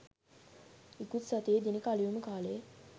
ඉකුත් සතියේ දිනක අලුයම කාලයේ